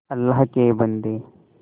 अल्लाह के बन्दे